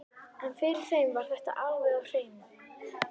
En fyrir þeim var þetta alveg á hreinu.